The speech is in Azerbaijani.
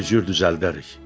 Bir cür düzəldərik.